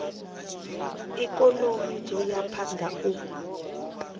ikonomi dzo ya phanda u